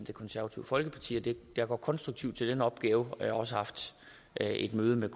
det konservative folkeparti jeg går konstruktivt til den opgave jeg har også haft et møde med